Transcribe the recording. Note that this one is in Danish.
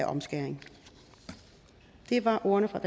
omskæring det var ordene fra